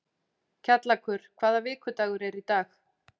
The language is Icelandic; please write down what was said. Kjallakur, hvaða vikudagur er í dag?